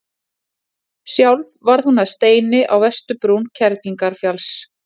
sjálf varð hún að steini á vesturbrún kerlingarfjalls